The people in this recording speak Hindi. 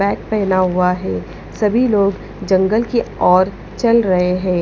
बैग पहना हुआ है सभी लोग जंगल की ओर चल रहे हैं।